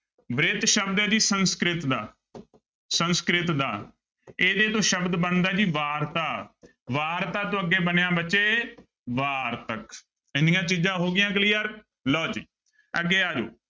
ਬ੍ਰਿਤ ਸ਼ਬਦ ਹੈ ਜੀ ਸੰਸਕ੍ਰਿਤ ਦਾ ਸੰਸਕ੍ਰਿਤ ਦਾ, ਇਹਦੇ ਤੋਂ ਸ਼ਬਦ ਬਣਦਾ ਹੈ ਜੀ ਵਾਰਤਾ ਵਾਰਤਾ ਤੋਂ ਅੱਗੇ ਬਣਿਆ ਬੱਚੇ ਵਾਰਤਕ, ਇੰਨੀਆਂ ਚੀਜ਼ਾਂ ਹੋ ਗਈਆਂ clear ਲਓ ਜੀ ਅੱਗੇ ਆ ਜਾਓ।